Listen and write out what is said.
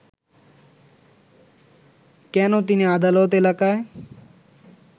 কেন তিনি আদালত এলাকায়